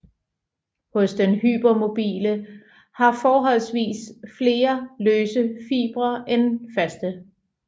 Hos den hypermobile har forholdsvis flere løse fibre end faste